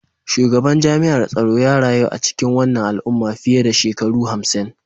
Shugaban jami'ar tsaro ya rayu a cikin wannan al'umma fiye da shekaru hamsin